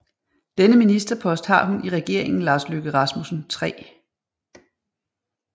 Denne ministerpost har hun i Regeringen Lars Løkke Rasmussen III